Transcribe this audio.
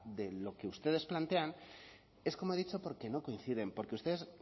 de lo que ustedes plantean es como he dicho porque no coinciden porque ustedes